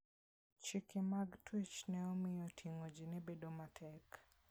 Chike mag twech ne omiyo ting'o ji ne bedo matek.